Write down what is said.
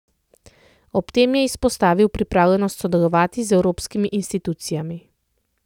Ob tem je izpostavil pripravljenost sodelovati z evropskimi institucijami.